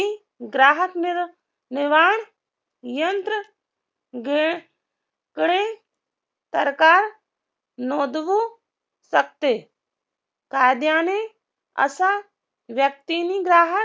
ग्राहक निर्वाण यंत्र कडे तारकार नोंदवू शकते कायद्याने असा व्यक्तींनी ग्राहक